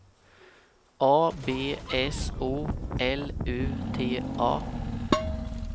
A B S O L U T A